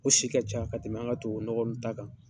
O si ka ca ka tɛmɛ an ka tubabunɔgɔ ninnu ta kan.